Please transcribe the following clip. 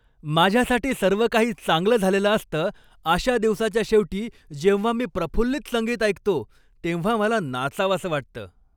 माझ्यासाठी सर्व काही चांगलं झालेलं असतं अशा दिवसाच्या शेवटी जेव्हा मी प्रफुल्लित संगीत ऐकतो, तेव्हा मला नाचावंसं वाटतं.